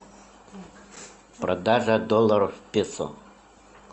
продажа долларов в песо